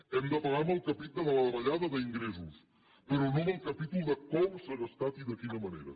l’hem de pagar en el capítol de la davallada d’ingressos però no en el capítol de com s’ha gastat i de quina manera